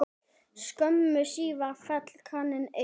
Skömmu síðar féll kraninn einnig.